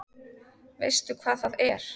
Veistu hvað það er?